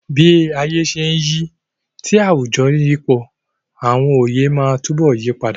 Bí ayé ṣe ń yí, tí àwùjọ sì ń yípo, àwọn oyè máa túbọ̀ yí padà.